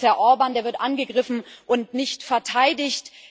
Das ist Herr Orbán, der wird angegriffen und nicht verteidigt.